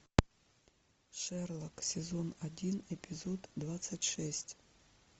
шерлок сезон один эпизод двадцать шесть